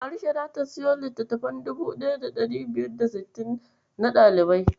Warisha zata siyo littattafai 1560 na ɗalibanta.